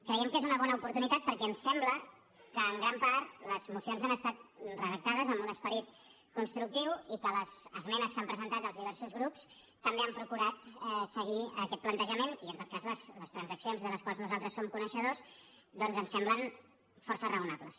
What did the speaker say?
creiem que és una bona oportunitat perquè ens sembla que en gran part les mocions han estat redactades amb un esperit constructiu i que les esmenes que han presentat els diversos grups també han procurat seguir aquest plantejament i en tot cas les transaccions de les quals nosaltres som coneixedors doncs ens semblen força raonables